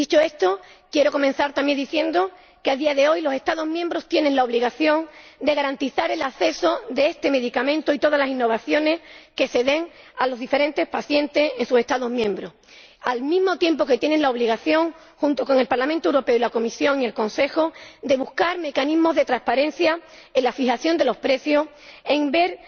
Dicho esto, quiero comenzar también diciendo que, a día de hoy, los Estados miembros tienen la obligación de garantizar el acceso a este medicamento y a todas las innovaciones que se den a los diferentes pacientes en sus Estados miembros, al mismo tiempo que tienen la obligación, junto con el Parlamento Europeo, la Comisión y el Consejo, de buscar mecanismos de transparencia en la fijación de los precios, de ver